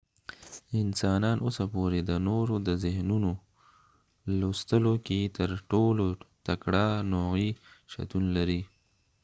انسانان اوسه پوري د نورو د ذهنونو لوستلو کې تر ټولو تکړه نوعي شتون لري